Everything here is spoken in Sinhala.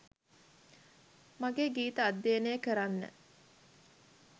මගේ ගීත අධ්‍යයනය කරන්න